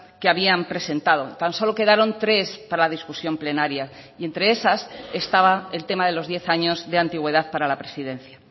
que habían presentado tan solo quedaron tres para la discusión plenaria y entre esas estaba el tema de los diez años de antigüedad para la presidencia